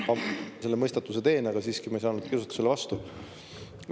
Ma selle mõistatuse ütlen, ma ei saanud kiusatusele vastu panna.